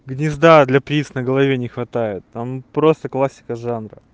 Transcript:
гнезда для птиц на голове не хватает там просто классика жанра